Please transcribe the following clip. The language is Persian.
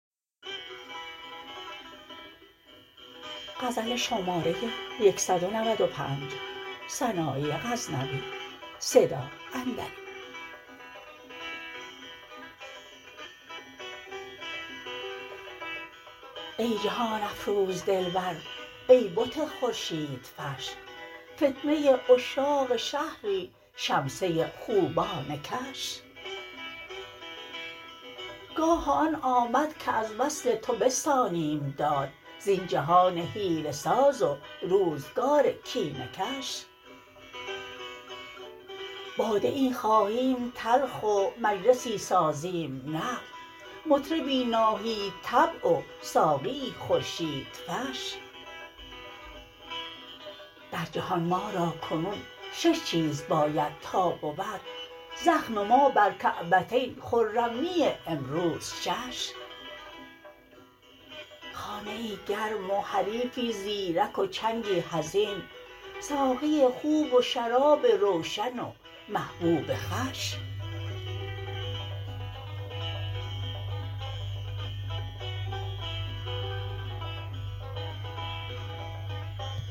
ای جهان افروز دلبر ای بت خورشیدفش فتنه عشاق شهری شمسه خوبان کش گاه آن آمد که از وصل تو بستانیم داد زین جهان حیله ساز و روزگار کینه کش باده ای خواهیم تلخ و مجلسی سازیم نغز مطربی ناهید طبع و ساقیی خورشیدفش در جهان ما را کنون شش چیز باید تا بود زخم ما بر کعبتین خرمی امروز شش خانه ای گرم و حریفی زیرک و چنگی حزین ساقی خوب و شراب روشن و محبوب خوش